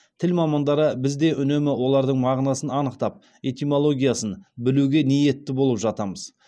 тіл мамандары біз де үнемі олардың мағынасын анықтап этимологиясын білуге ниетті болып жатамыз